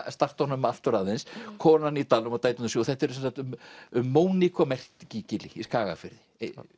starta honum aftur aðeins konan í dalnum og dæturnar sjö þetta er sem sagt um Moniku á Merkigili í Skagafirði